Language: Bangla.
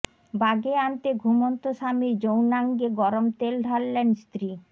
বাগে আনতে ঘুমন্ত স্বামীর যৌনাঙ্গে গরম তেল ঢাললেন স্ত্রী